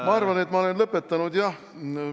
Ma arvan, et ma olen lõpetanud, jah.